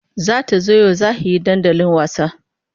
Za ta zo yau za he dandali wasa.